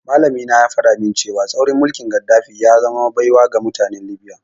Malamina ya faɗa min cewa tsaurin mulkin Gaddafi ya zama baiwa ga mutanen Libya.